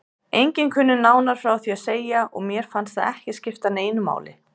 Enginn kunni nánar frá því að segja og mér fannst það ekki skipta neinu máli.